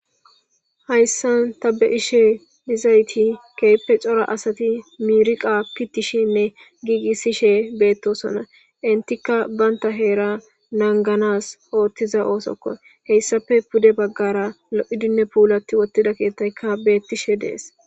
Hayisan ta be ashe dizayi kehippe co,ra asati miriqa pitishenne gigisishe betosona entika banta hera naganas otiza osoko hesappe pude bagara lo,idinne pulatiwotiza kethayika betishe dee's